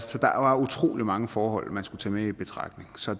var utrolig mange forhold man skulle tage med i betragtning så